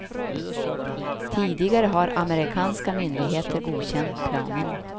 Tidigare har amerikanska myndigheter godkänt planerna.